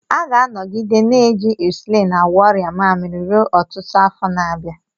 A ga-anọgide na-eji ịnsụlịn agwọ ọrịa mmaamiri ruo ọtụtụ afọ na-abịa.